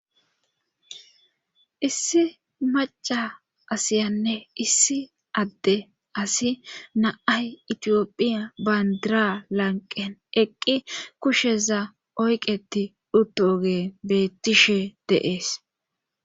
issi maca asiyanne issi adde asi naay itiyophiya bandira lanqen eqqi kusheza oyqeti dhuttogee bettishe deees